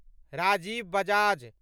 Rajiv Bajaj